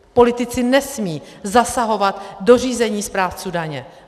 Politici nesmí zasahovat do řízení správců daně.